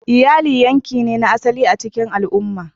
Iyali yanki ne na asali a cikin al'umma.